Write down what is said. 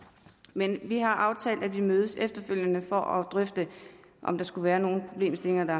men vi har aftalt at vi mødes efterfølgende for at drøfte om der skulle være nogle problemstillinger der